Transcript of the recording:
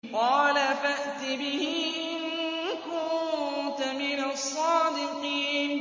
قَالَ فَأْتِ بِهِ إِن كُنتَ مِنَ الصَّادِقِينَ